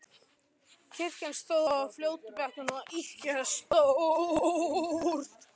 Kirkjan, sem stóð á fljótsbakkanum, var ekki ýkja stór.